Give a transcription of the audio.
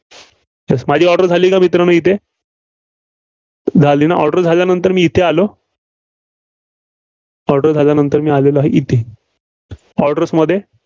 माझी order झाली का मित्रांनो येथे? झाली ना? order झाल्यानंतर मी येथे आलो. order झाल्यानंतर मी आलेलो आहे, इथे. orders मध्ये